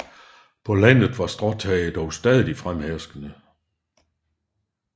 På landet var stråtage dog stadig fremherskende